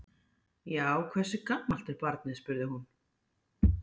Já, hversu gamalt er barnið? spurði hún.